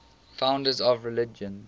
founders of religions